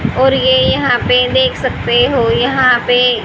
और ये यहां पे देख सकते हो यहां पे--